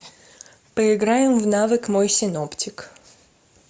поиграем в навык мой синоптик